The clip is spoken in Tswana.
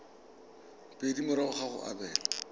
pedi morago ga go abelwa